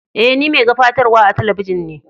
E, ni mai gabatarwa a teleibijin ne.